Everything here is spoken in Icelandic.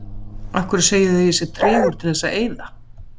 Af hverju segið þið að ég sé tregur til þess að eyða?